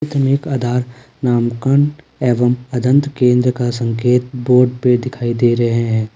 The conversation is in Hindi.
एक आधार नामकरण एवं अदंत केंद्र का संकेत बोर्ड पे दिखाई दे रहे हैं ।